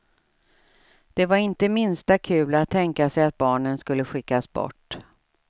Det var inte det minsta kul att tänka sig att barnen skulle skickas bort.